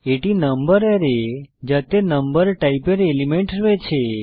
এটি নম্বর অ্যারে যাতে নম্বর টাইপের এলিমেন্ট রয়েছে